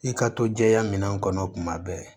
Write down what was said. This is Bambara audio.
I ka to jɛya minɛn kɔnɔ tuma bɛɛ